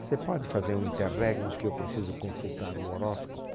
Você pode fazer um interregno que eu preciso consultar o horóscopo?